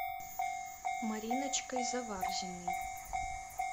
мариночкой заварзиной